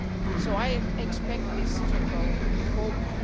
So I expect this to go forward.